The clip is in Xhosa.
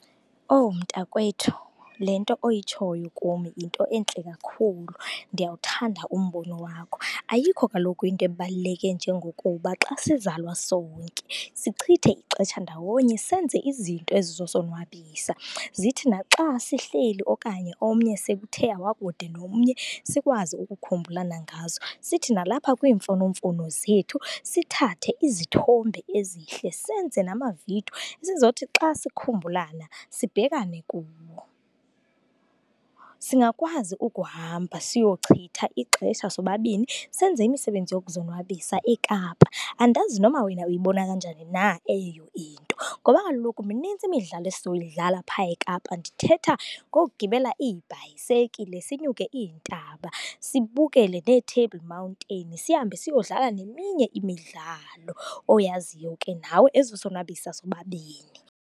Oh, mntakwethu, le nto oyitshoyo kum yinto entle kakhulu, ndiyawuthanda umbono wakho. Ayikho kaloku into ebaluleke njengokuba xa sizalwa sonke sichithe ixesha ndawonye, senze izinto ezizosonwabisa. Zithi naxa sihleli okanye omnye sekuthe wakude nomnye sikwazi ukukhumbulana ngazo. Sithi nalapha kwiimfonomfono zethu sithathe izithombe ezihle, senze namavidiyo. Sizothi xa sikhumbulana, sibhekane kuwo. Singakwazi ukuhamba siyochitha ixesha sobabini, senze imisebenzi yokuzonwabisa eKapa. Andazi noba wena uyibona kanjani na eyiyo into. Ngoba kaloku mininzi imidlalo esizoyidlala pha eKapa, ndithetha ngokugibela iibhayisekile, sinyuke iintaba, sibukele neeTable Mountain, sihambe siyodlala neminye imidlalo oyaziyo ke nawe ezosonwabisa sobabini.